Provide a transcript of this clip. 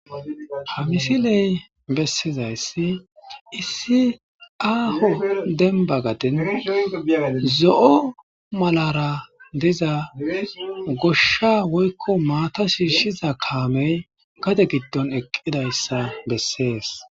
ha misiley bessizayssi issi aaho demba gaden zo7o malara diza goshsha woykko maata shiishiza kaamey gade giddon eqqidayssa bessees